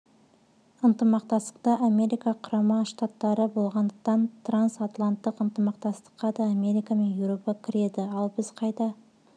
ынтымақтастықта америка құрама штаттары болғандықтан трансатланттық ынтымақтастыққа да америка мен еуропа кіреді ал біз қайда